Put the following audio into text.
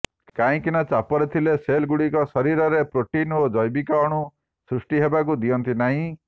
କାହିଁକି ନା ଚାପରେ ଥିଲେ ସେଲଗୁଡ଼ିକ ଶରୀରରେ ପ୍ରୋଟିନ୍ ଓ ଜୈବିକ ଅଣୁ ସୃଷ୍ଟି ହେବାକୁ ଦିଅନ୍ତି ନାହିଁ